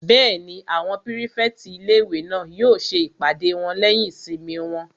Bẹ́ẹ̀ni, àwọn pírífẹ̀tì ilé-ìwé náà yóò ṣe ìpàdé wọn lẹ́yìn ìsinmi wọn